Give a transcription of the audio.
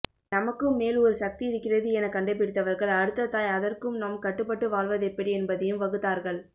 நமக்கும் மேல் ஒரு சக்தி இருக்கிறது என கண்டுபிடித்தவர்கள் அடுத்ததாய் அதற்குநாம் கட்டுப்பட்டு வாழ்வதெப்படி என்பதையும் வகுத்தார்கள்